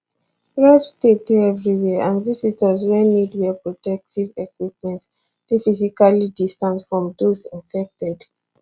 red tape dey everywhere and visitors wey need wear protective equipment dey physically distanced from those infected